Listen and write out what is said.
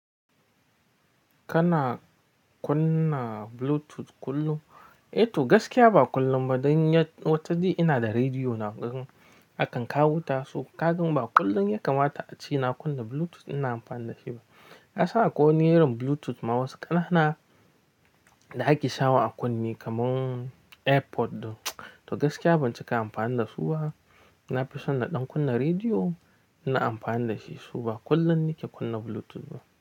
Kana kunna Bluetooth kullum? Eh to gaskiya ba kullum ba, don ya wata jiya ina da rediyo na akan kawo tasu. Kaga ba kullum yake mata a ci na kunna Bluetooth ina amfana da shi ba. Ka san akwai niyar Bluetooth ma wasu ƙanana da ake sawa a kunne kamar airpod ɗin. To gaskiya ban cika amfani da su ba. Na fi son na ɗan kunna rediyo ina amfani da shi su ba kullum yake kunna Bluetooth ba.